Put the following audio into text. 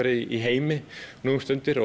í heimi nú um mundir